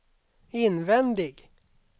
invändig